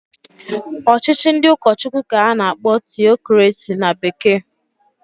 Ọchịchị ndị ụkọchụkwụ k'a na-akpọ Tiocrasi na bekee.